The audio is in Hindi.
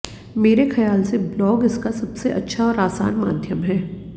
मेरे ख्याल से ब्लॉग इसका सबसे अच्छा और आसान माध्यम है